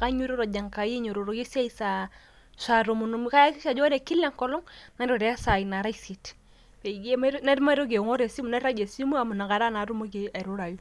kainyototo enjekai ainyiototoki esiai sa tomon onusu. ajokahakisha ajo kila enkolong nairure sai nara isiet peyie maitoki aingor esimu ,nairagie esimu amu inakata naake atumoki airurayu.